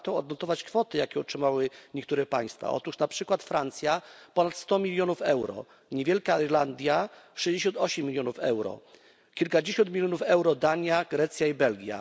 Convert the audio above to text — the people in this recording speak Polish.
Warto odnotować kwoty, jakie otrzymały niektóre państwa. Otóż na przykład Francja ponad 100 mln euro, niewielka Irlandia 68 mln euro, kilkadziesiąt milionów euro Dania, Grecja i Belgia.